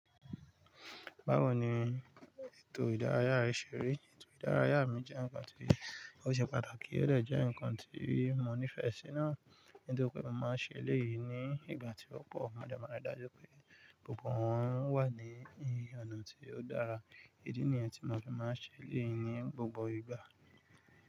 Báwo ni ètò ìdárayá rẹ ṣe rí? Ètò ìdárayá mi jẹ́ ǹkan tí ó ṣe pàtàkì óò dẹ̀ jẹ́ ǹkan tí mo nífẹ̀ẹ́ sí náà, nítorí pé mo máa ń ṣe eléyìí ní ìgbà tí ọ̀pọ̀ mọdé máa ń ri dájú pé gbogbo wọn wà ní hẹ́n ọ̀nà tí ó dára. Idi nìyẹn tí mo fi máa ń ṣe eléyìí ní gbogbo ìgbà.